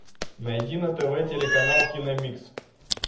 найди на тв телеканал кино микс